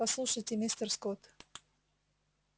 послушайте мистер скотт